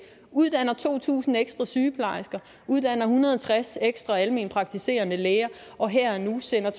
uddanner to tusind ekstra sygeplejersker uddanner en hundrede og tres ekstra almenpraktiserende læger og her og nu sender